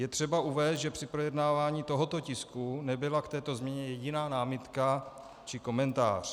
Je třeba uvést, že při projednávání tohoto tisku nebyla k této změně jediná námitka či komentář.